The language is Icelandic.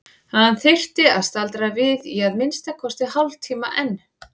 Hann þyrfti að staldra við í að minnsta kosti hálftíma enn.